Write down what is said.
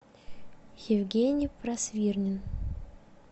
евгений просвирнин